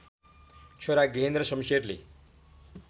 छोरा गेहेन्द्र शमशेरले